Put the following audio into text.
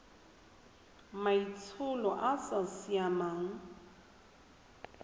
maitsholo a a sa siamang